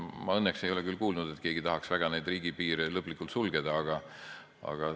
Ma õnneks ei ole küll kuulnud, et keegi tahaks väga riigipiire lõplikult sulgeda.